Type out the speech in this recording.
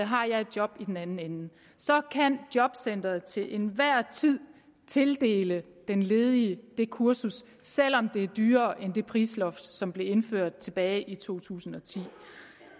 har jeg et job i den anden ende så kan jobcenteret til enhver tid tildele den ledige det kursus selv om det er dyrere end det prisloft som blev indført tilbage i to tusind og ti